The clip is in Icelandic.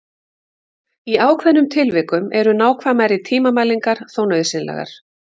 Í ákveðnum tilvikum eru nákvæmari tímamælingar þó nauðsynlegar.